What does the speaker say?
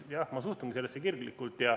Jah, ma suhtungi sellesse kirglikult.